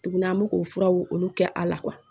Tuguni an bɛ k'o furaw olu kɛ a la kuwa